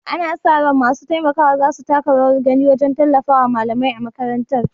Ana sa ran masu taimakawa za su taka rawar gani wajen tallafawa malamai a makarantar.